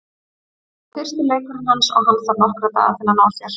Þetta var fyrsti leikurinn hans og hann þarf nokkra daga til að ná sér.